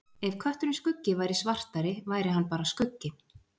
Ef kötturinn Skuggi væri svartari væri hann bara skuggi.